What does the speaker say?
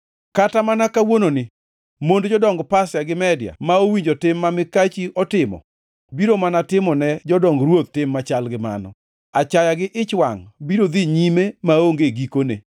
Kata mana kawuononi mond jodong Pasia gi Media ma owinjo tim ma mikachi otimo biro mana timo ne jodong ruoth tim machal gi mano. Achaya gi ich wangʼ biro dhi nyime maonge gikone.